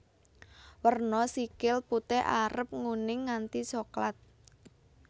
Werna sikil putih arep nguning nganti soklat